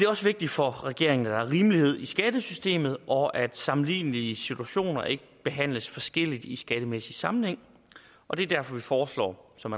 også vigtigt for regeringen at der er rimelighed i skattesystemet og at sammenlignelige situationer ikke behandles forskelligt i skattemæssig sammenhæng og det er derfor vi foreslår som